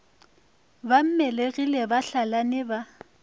ba mmelegi ba hlalane ba